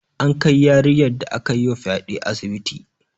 An kai yarinyar da aka yi wa fyaɗe asibiti